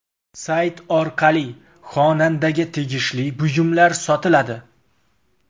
Sayt orqali xonandaga tegishli buyumlar sotiladi.